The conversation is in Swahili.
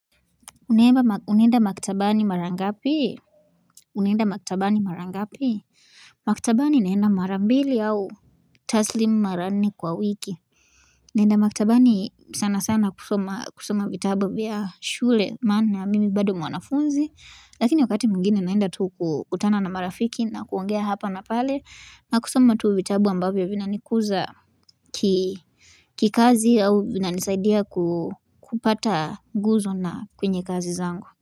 Unenda maktabani marangapi unenda maktabani marangapi maktabani naenda marambili au taslimu maranne kwa wiki naenda maktabani sana sana kusoma vitabu vya shule maana mimi bado mwanafunzi lakini wakati mwigine naenda tuu kukutana na marafiki na kuongea hapa na pale na kusoma tuu vitabu ambavyo vina nikuza kikazi au vina nisaidia kupata nguzo na kwenye kazi zangu.